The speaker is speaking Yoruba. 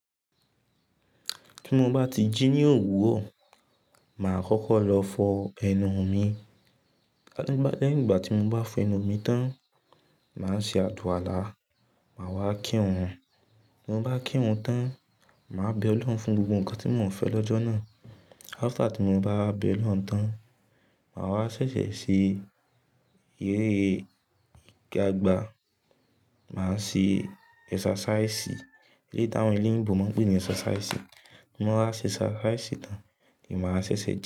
Tí mo bá ti jí ní òwúrọ̀, ma kọ́kọ́ lọ fọ ẹnu mi. Lẹ́hin ìgbà tí mo bá fọ ẹnu mi tán, ma ṣe àluala, ma wá kínrun. Tí mo bá kínrun tán, ma bẹ ọlọ́run fún gbogbo nǹkan tí mo ń fẹ́ lọ́jọ́ náà. After tí mo bá bẹ ọlọ́run tán, ma wá ṣèṣẹ̀ ṣe eré igagbà, ma ṣe exercise, eléyì tí àwọn olóyìnbó máa ń pè ní exercise. Tí mo bá ṣe exercise tán, ni ma ṣe sé jẹ.